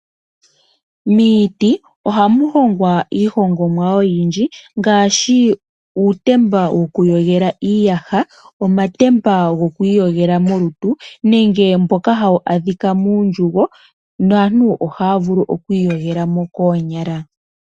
Miiti ohamu hongwa iihongomwa oyindji ngaashi uutemba wokuyogela iiyasha, omatemba gokwiiyogela molutu nenge mboka hawu adhika muundjugo naantu ohaya vulu okwiiyogelamo koonyala.